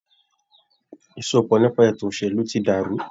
Ìsopọ̀ nípa ètò òṣèlú tí dàrú.